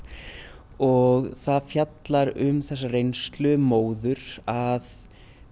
og það fjallar um þessa reynslu móður að